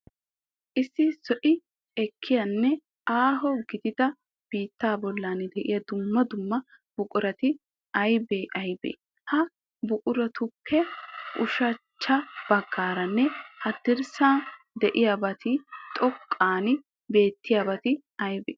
Issi zo'i ekkiyaanne aaho gidida biittaa bollan de'iya dumma dumma buqurati aybee aybee? Ha buquratuppe ushachcha baggaaranne haddirssaara de'iyabatinne xoqqan beettiyabati aybee?